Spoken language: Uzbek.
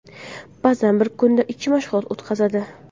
Ba’zan bir kunda ikkita mashg‘ulot o‘tkazadi.